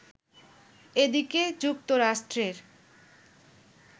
এদিকে, যুক্তরাষ্ট্রের